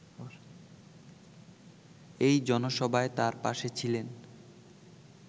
এই জনসভায় তাঁর পাশে ছিলেন